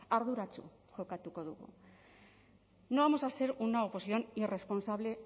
arduratsu jokatuko dugu no vamos a ser una oposición irresponsable